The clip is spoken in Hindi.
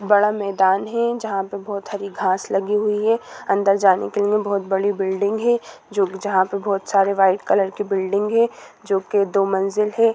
बड़ा मैदान है जहाँ पे बोहोत हरी घास लगी हुई है अंदर जाने के लिए बोहोत बड़ी बिल्डिंग है जो जहाँ पे बोहोत सारे व्हाइट कलर के बिल्डिंग है जो के दो मंजिल है।